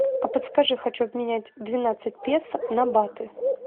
а подскажи хочу обменять двенадцать песо на баты